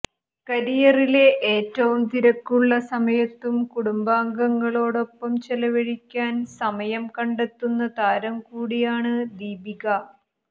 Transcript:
കരിയറിലെ ഏറ്റവും തിരക്കുള്ള സമയത്തും കുടുംബാംഗങ്ങളോടൊപ്പം ചെലവഴിക്കാന് സമയം കണ്ടെത്തുന്ന താരം കൂടിയാണ് ദീപിക